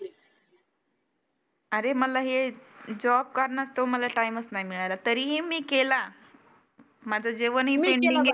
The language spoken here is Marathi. आरे मला हे जॉब करण्यात मला टाइम नाही मिळाला, तरी ही मी केला. माझं जेवन ही